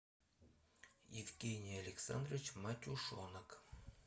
евгений александрович матюшонок